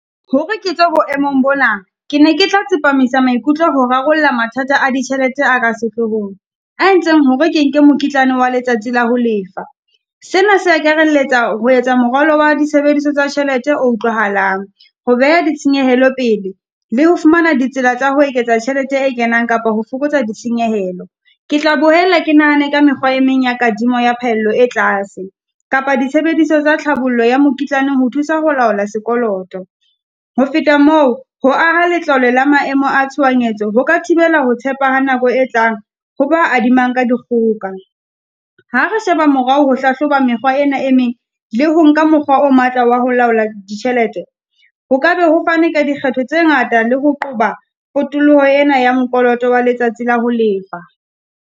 Hore ke tswe boemong bona, ke ne ke tla tsepamisa maikutlo ho rarolla mathata a ditjhelete a ka sehlohong. A entseng hore ke nke mokitlane wa letsatsi la ho lefa. Sena se akarelletsa ho etsa moralo wa disebediswa tsa tjhelete o utlwahalang. Ho beha ditshenyehelo pele le ho fumana ditsela tsa ho eketsa tjhelete e kenang, kapa ho fokotsa di senyehelo. Ke tla bohella ke nahana ka mekgwa e meng ya kadimo ya phahello e tlase, kapa disebediswa tsa tlhabollo ya mokitlane ho thusa ho laola sekoloto. Ho feta moo, ho aha letlalo la maemo a tshohanyetso ho ka thibela ho tshepe ha nako e tlang, ho ba adimanang ka dikgoka. Ha re sheba morao ho hlahloba mekgwa ena e e meng, le ho nka mokgwa o matla wa ho laola ditjhelete. Ho ka be ho fanwe ka dikgetho tse ngata le ho qoba potoloho ena ya mokolota wa letsatsi la ho lefa.